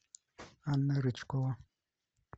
анна рычкова